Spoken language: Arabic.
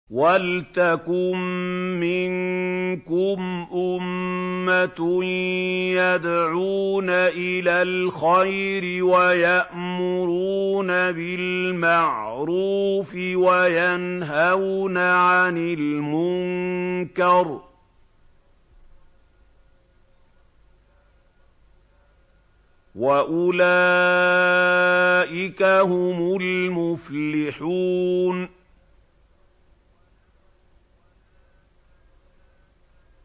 وَلْتَكُن مِّنكُمْ أُمَّةٌ يَدْعُونَ إِلَى الْخَيْرِ وَيَأْمُرُونَ بِالْمَعْرُوفِ وَيَنْهَوْنَ عَنِ الْمُنكَرِ ۚ وَأُولَٰئِكَ هُمُ الْمُفْلِحُونَ